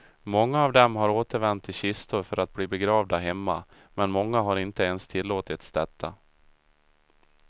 Många av dem har återvänt i kistor för att bli begravda hemma, men många har inte ens tillåtits detta.